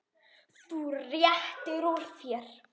Þú réttir úr þér.